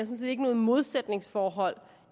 set ikke noget modsætningsforhold